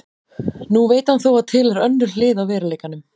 Nú veit hann þó að til er önnur hlið á veruleikanum.